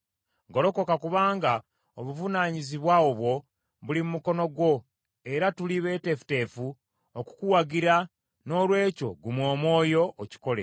Golokoka kubanga obuvunaanyizibwa obwo buli mu mukono gwo era tuli beeteefuteefu okukuwagira, noolwekyo guma omwoyo okikole.”